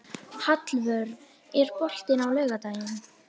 Hallvör, er bolti á laugardaginn?